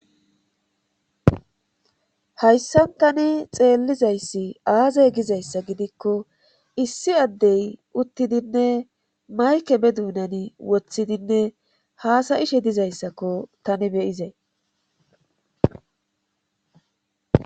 Hayssantani xeellizayssi aazay gizayssa gidikko issi addey uttidinne mayke be duunani wothidinne haasa7ishe dizayssakko tani beyizee.